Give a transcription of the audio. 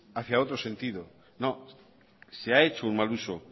hacia otro sentido no se ha hecho un mal uso